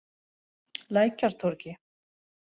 Lækjartorgi